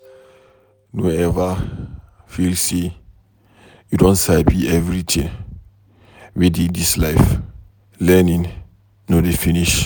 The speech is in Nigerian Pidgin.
No ever feel say you don sabi everything wey dey dis life, learning no dey finish.